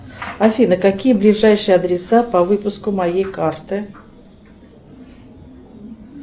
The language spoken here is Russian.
афина какие ближайшие адреса по выпуску моей карты